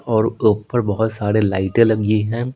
और ऊपर बहुत सारे लाइटें लगी हैं।